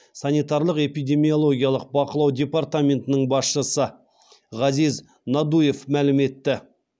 санитариялық эпидемиологиялық бақылау департаментінің басшысы ғазиз надуев мәлім етті